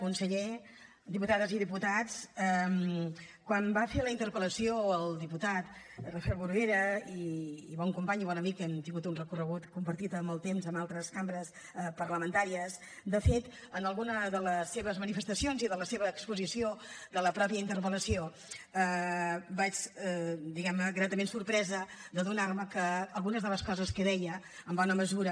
conseller diputades i diputats quan va fer la interpel·lació el diputat rafel bruguera i bon company i bon amic hem tingut un recorregut compartit en el temps amb altres cambres parlamentàries de fet en alguna de les seves manifestacions i de la seva exposició de la mateixa interpel·lació vaig estar diguem ne gratament sorpresa d’adonar me que algunes de les coses que deia en bona mesura